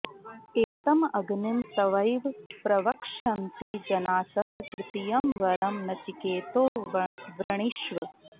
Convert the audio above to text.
एतमग्निं तवैव प्रवक्ष्यन्ति जनासः तृतीयं वरं नचिकेतो वृणीष्व